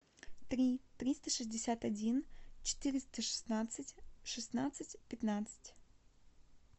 три триста шестьдесят один четыреста шестнадцать шестнадцать пятнадцать